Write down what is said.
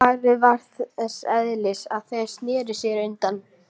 Svarið var þess eðlis að þeir sneru sér undan.